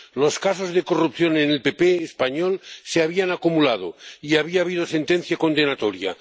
Los casos de corrupción en el PP español se habían acumulado, y había habido sentencia condenatoria.